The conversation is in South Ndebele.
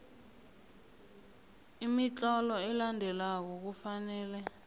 imitlolo elandelako kufanele